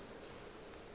bona tšeo a napa a